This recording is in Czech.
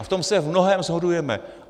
A v tom se v mnohém shodujeme.